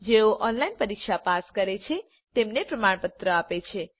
જેઓ ઓનલાઇન પરીક્ષા પાસ કરે છે તેમને પ્રમાણપત્ર આપે છે